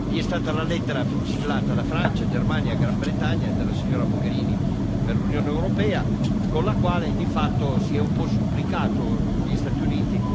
Vi è stata la lettera siglata da Francia, Germania, Gran Bretagna e dalla signora Mogherini per l'Unione europea, con la quale di fatto si è un po' supplicato gli Stati Uniti